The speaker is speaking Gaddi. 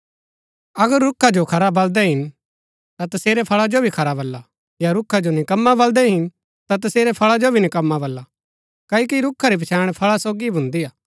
अगर रूखा जो खरा बलदै हिन ता तसेरै फळा जो भी खरा बला या रूखा जो निकम्मा बलदै हिन ता तसेरै फळा जो भी निकम्मा बला क्ओकि रूखा री पछैण फळा सोगी ही भुन्दी हा